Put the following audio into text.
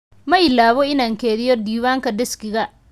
Ma iloobo inaan keydiyo diiwaanka diskiga.